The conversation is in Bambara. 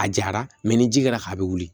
A jara mɛ ni ji kɛra ka a bɛ wuli